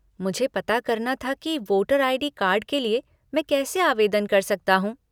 मुझे पता करना था कि वोटर आई.डी. कार्ड के लिए मैं कैसे आवेदन कर सकता हूँ।